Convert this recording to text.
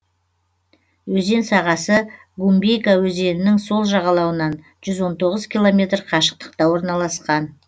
өзен сағасы гумбейка өзенінің сол жағалауынан жүз он тоғыз километр қашықтықта орналасқан